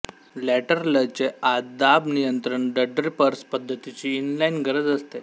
लॅटरलचे आत दाब नियंत्रण ड्ड्रिपर्स पद्धतीची इनलाईन गरज असते